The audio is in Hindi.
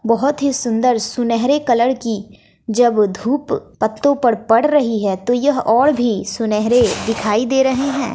बहोत ही सुंदर सुनहरे कलर की जब धूप पत्तों पर पड़ रही है तो यह और भी सुनहरे दिखाई दे रहे हैं।